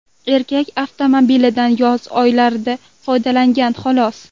Erkak avtomobildan yoz oylarida foydalangan xolos.